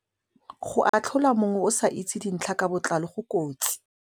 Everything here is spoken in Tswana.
Go atlhola mongwe o sa itse dintlha ka botlalo go kotsi.